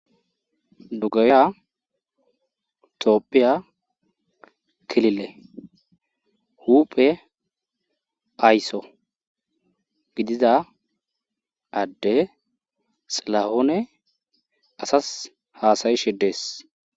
Dugaya toopphiya kilile huphe aysso gidida adde xilahoone asas haasayishidees.